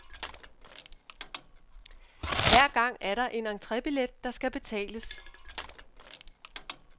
Hver gang er der en entrebillet, der skal betales.